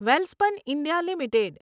Welspun India limited